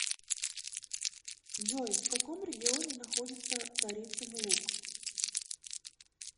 джой в каком регионе находится царицын луг